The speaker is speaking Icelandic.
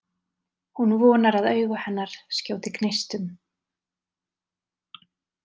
Hún vonar að augu hennar skjóti gneistum.